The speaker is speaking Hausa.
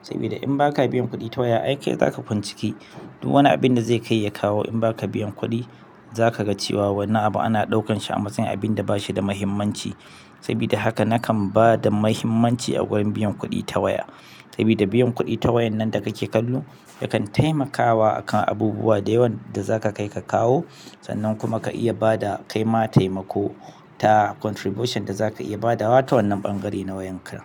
sabida in baka biyan kuɗi ta waya ai kai zaka kwan ciki, duk wani abu da zai kai ya kawo in ba ka biyan kuɗi, za ka ga cewa wannan abu ana ɗaukan shi a matsayin abin da ba shi da mahimmanci. Saboda haka nakan ba da mahimmanci a gurin biyan kuɗi ta waya. Sabida biyan kuɗi ta wayan nan da kake kallo yakan taimakawa akan abubuwa da yawan da za ka kai ka kawo sannan kuma ka iya bada kai ma taimako da contribution da zaka iya badawa ta wannan ɓangare na wayarka.